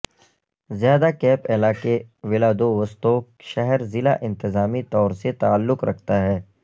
زیادہ کیپ علاقے ولادووستوک شہر ضلع انتظامی طور سے تعلق رکھتا ہے